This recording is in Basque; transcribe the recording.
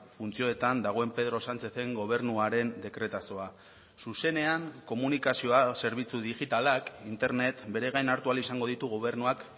funtzioetan dagoen pedro sánchezen gobernuaren dekretazoa zuzenean komunikazioa zerbitzu digitalak internet beregain hartu ahal izango ditu gobernuak